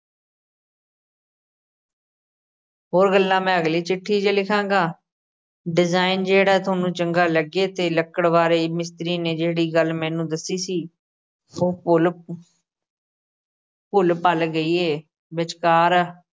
ਹੋਰ ਗੱਲਾਂ ਮੈਂ ਅਗਲੀ ਚਿੱਠੀ 'ਚ ਲਿਖਾਂਗਾ design ਜਿਹੜਾ ਥੋਨੂੰ ਚੰਗਾ ਲੱਗੇ ਤੇ ਲੱਕੜ ਬਾਰੇ ਮਿਸਤਰੀ ਨੇ ਜਿਹੜੀ ਗੱਲ ਮੈਨੂੰ ਦੱਸੀ ਸੀ, ਉਹ ਭੁੱਲ ਭੁੱਲ-ਭੱਲ ਗਈ ਏ, ਵਿਚਕਾਰ